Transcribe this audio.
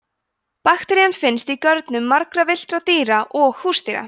bakterían finnst í görnum margra villtra dýra og húsdýra